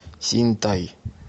синьтай